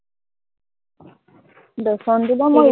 বেচনটো বাৰু মই